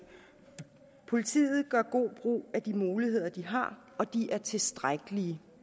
politiet gør god brug af de muligheder de har og de er tilstrækkelige